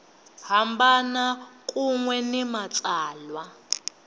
hambana kun we ni matsalwa